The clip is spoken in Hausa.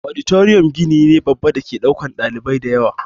Auditorium gini ne babba dake ɗaukan ɗalibai dayawa